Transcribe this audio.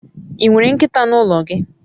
I nwere nkita n'ulo gi?